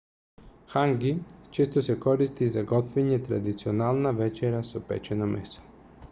ханги често се користи за готвење традиционална вечера со печено месо